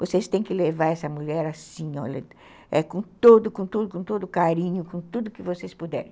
Vocês têm que levar essa mulher assim, com todo carinho, com tudo que vocês puderem.